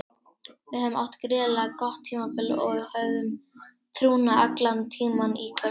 Við höfum átt gríðarlega gott tímabil og höfðum trúna allan tímann í kvöld.